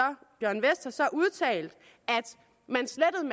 udtalt